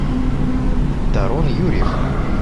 тарон юрьев